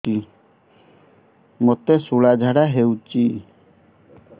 ମୋତେ ଶୂଳା ଝାଡ଼ା ହଉଚି